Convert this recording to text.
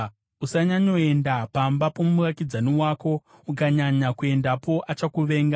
Usanyanyoenda pamba pomuvakidzani wako, ukanyanya kuendapo, achakuvenga.